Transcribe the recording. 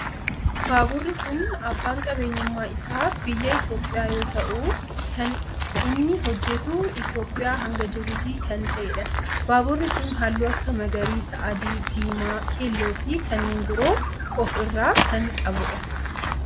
Baaburri kun abbaan qabeenyummaa isaa biyya Itiyoophiyaa yoo ta'u kan inni hojjetu Itiyoophiyaa hanga jibuutii kan ta'edha. Baaburri kun halluu akka magariisa, adii, diimaa, keelloo fi kanneen biroo of irraa kan qabudha.